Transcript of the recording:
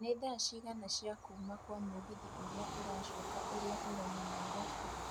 nĩ thaa cigana cĩa kuuma Kwa mũgithi uria ũracoka ũria ũrauma nairobi